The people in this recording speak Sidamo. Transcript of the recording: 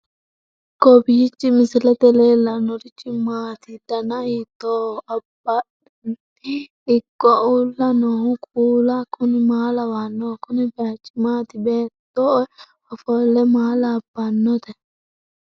kowiicho misilete leellanorichi maati ? dana hiittooho ?abadhhenni ikko uulla noohu kuulu kuni maa lawannoho? kuni baychu maati baattoe ofollono maa labbannote